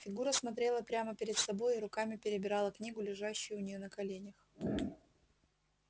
фигура смотрела прямо перед собой и руками перебирала книгу лежащую у неё на коленях